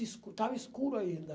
Escu estava escuro ainda.